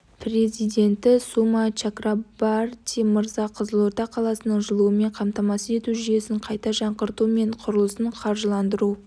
президенті сума чакрабарти мырза қызылорда қаласының жылумен қамтамасыз ету жүйесін қайта жаңғырту және құрылысын қаржыландыру